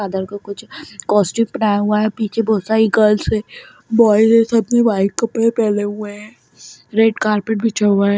फादर कुछ कोस्टूम पहनाया हुआ है पीछे बहोत सारी गर्ल्स है बॉयज है सब ने वाइट कपडे पेहने हुए हैं रेड कार्पेट बिछा हुआ है।